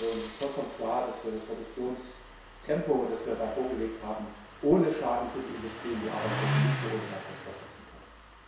Es ist vollkommen klar, dass wir das Reduktionstempo, das wir da vorgelegt haben, ohne Schaden für die Industrie und die Arbeitsplätze nicht so ohne weiteres fortsetzen können!